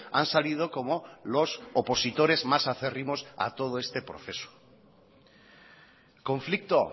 han salido como los opositores más acérrimos a todo este proceso conflicto